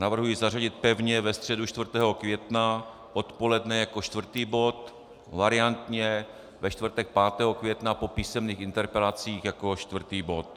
Navrhuji zařadit pevně ve středu 4. května odpoledne jako čtvrtý bod, variantně ve čtvrtek 5. května po písemných interpelacích jako čtvrtý bod.